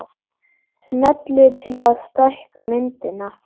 Smellið til að stækka myndina